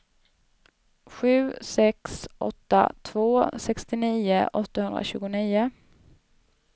sju sex åtta två sextionio åttahundratjugonio